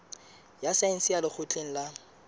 ya saense ya lekgotleng la